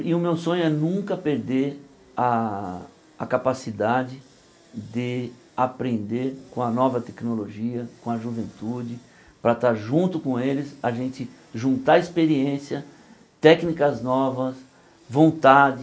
E o meu sonho é nunca perder a a capacidade de aprender com a nova tecnologia, com a juventude, para estar junto com eles, a gente juntar experiência, técnicas novas, vontade,